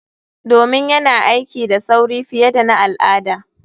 Domin yana aiki da sauri fiye da na al'ada.